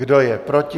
Kdo je proti?